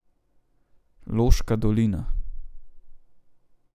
Loška dolina.